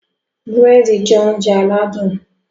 Burẹdi jẹ oúnjẹ aládùn